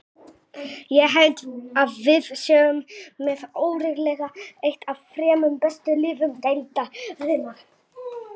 Ég held að við séum með örugglega eitt af þremur bestu liðum deildarinnar.